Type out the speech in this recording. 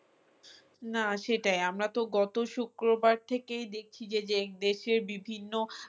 না সেটাই আমরা তো গত শুক্রবার থেকেই দেখছি যে দেশের বিভিন্ন